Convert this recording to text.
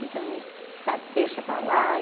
Então, sabe, deixa para lá e.